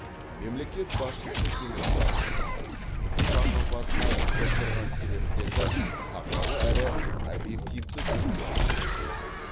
мемлекет басшысы кеңес барысында ұшақ апатына соқтырған себептерді сапалы әрі объективті түрде тексеруге